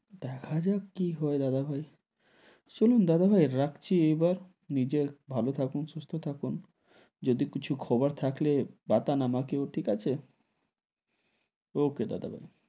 দেখা যাক কি হয় দাদাভাই, চলুন দাদাভাই রাখছি এবার, নিজের ভালো থাকুন সুস্থ থাকুন, যদি কিছু খবর থাকলে বাটন আমাকেও, ঠিক আছে okay দাদাভাই,